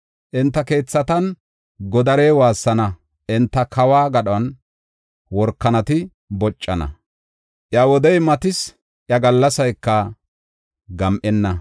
Enta keethatan godarey waassana; enta kawo gadhon workanati boccana. Iya wodey matis; iya gallasayka gam7enna.